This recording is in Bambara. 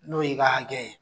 N'o y'i ka hakɛ ye.